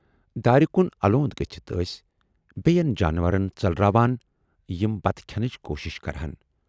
دارِ کُن الوند گٔژھِتھ ٲسۍ بییَن جانورَن ژٔلراوان یِم بَتہٕ کھنٕچ کوٗشِش کرٕہَن۔